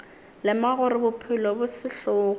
lemoga gore bophelo bo sehlogo